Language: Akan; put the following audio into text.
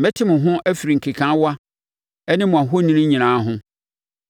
Mɛte mo ho afiri nkekaawa ne mo ahoni nyinaa ho.